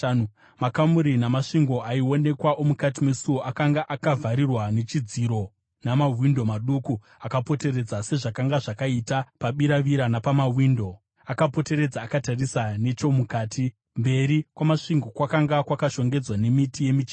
Makamuri namasvingo aionekwa omukati mesuo akanga akavharirwa nechidziro namawindo maduku akapoteredza, sezvakanga zvakaita pabiravira; napamawindo akapoteredza akatarisa nechomukati; mberi kwamasvingo kwakanga kwakashongedzwa nemiti yemichindwe.